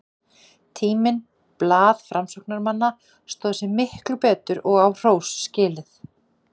Tíminn, blað framsóknarmanna, stóð sig miklu betur, og á hrós skilið.